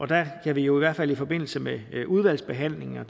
der har vi jo i hvert fald i forbindelse med udvalgsbehandlingen og